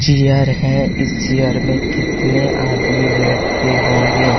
Cheer है इस chair में कितने आदमी बैठते होंगे।